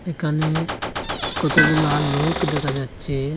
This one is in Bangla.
এখানে কতগুলা লোক দেখা যাচ্ছে।